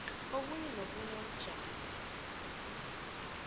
obunye nobunye ubujamo